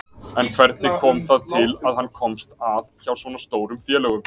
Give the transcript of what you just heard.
En hvernig kom það til að hann komst að hjá svona stórum félögum?